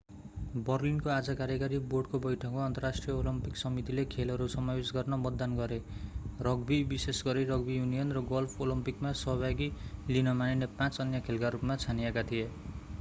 बर्लिनको आज कार्यकारी बोर्डको बैठकमा अन्तर्राष्ट्रिय ओलम्पिक समितिले खेलहरू समावेश गर्न मतदान गरे रग्बी विशेष गरी रग्बी युनियन र गल्फ ओलम्पिकमा सहभागी लिन मानिने पाँच अन्य खेलका रूपमा छानिएका थिए